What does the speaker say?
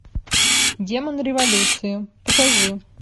демон революции покажи